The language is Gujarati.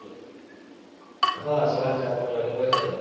આહ સવારે ચાર પાચ વાગે પહોચ્યા હતા